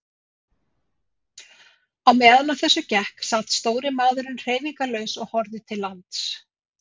Á meðan á þessu gekk sat stóri maðurinn hreyfingarlaus og horfði til lands.